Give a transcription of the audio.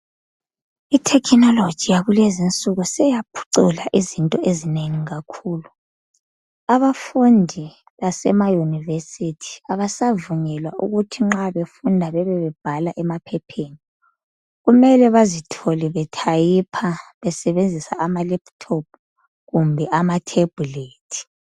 Itechnology yakulezinsuku seyaphucula izinto ezinengi kakhulu. Abafundi basemayunivesithi abasavunyelwa ukuthi nxa befunda bebebebhala emaphepheni, kummele bazithole bethayipha, besebenzisa amalephuthophu kumbe amathebhulethi.